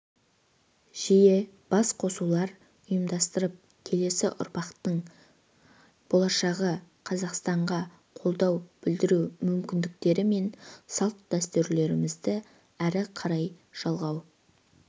жиі басқосулар ұйымдастырып келесі ұрпақтың болашағы қазақстанға қолдау білдіру мүмкіндіктері мен салт-дәстүрлерімізді ары қарай жалғау